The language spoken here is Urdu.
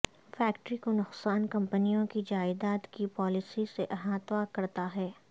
فیکٹری کو نقصان کمپنیوں کی جائیداد کی پالیسی سے احاطہ کرتا ہے